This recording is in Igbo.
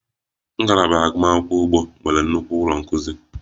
Ngalaba agụmakwụkwọ ugbo nwere nnukwu ụlọ nkuzi